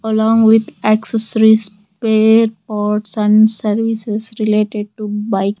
along with accessories spare parts and services related to bike.